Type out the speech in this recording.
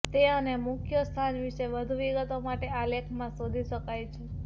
તે અને મુખ્ય સ્થાન વિશે વધુ વિગતો માટે આ લેખ માં શોધી શકાય છે